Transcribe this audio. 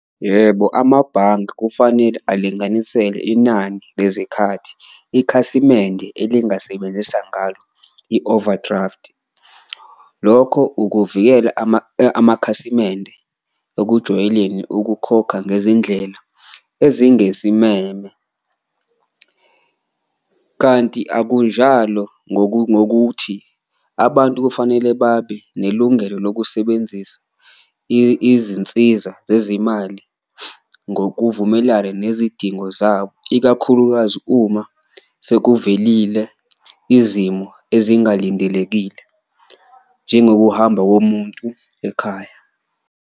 Yebo, amabhanki kufanele alinganisele inani lezikhathi ikhasimende elingasebenzisa ngalo i-overdraft, lokho ukuvikela amakhasimende ekujwayelekile ukukhokha ngezindlela ezingesimeme. Kanti akunjalo ngokuthi abantu kufanele babe nelungelo lokusebenzisa izinsiza zezimali ngokuvumelana nezidingo zabo ikakhulukazi uma sekuvelile izimo ezingalindelekile, njengokuhamba komuntu ekhaya.